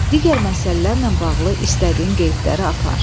Digər məsələlərlə bağlı istədiyin qeydləri apar.